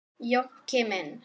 Jónki minn.